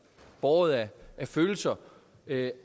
båret af følelser